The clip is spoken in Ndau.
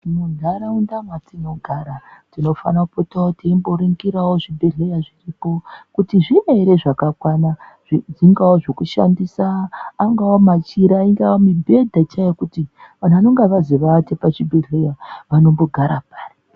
Munharaunda mwatinogara tinofanira kutoringirawo zvibhehleya zviripo kuti zviriyo ere zvakakwana zvingaa zvekushandisa angaa machira ingaa, mibhedha chaiyo kuti anhu vanonga vazoata pachibhehleya vanombogara pari?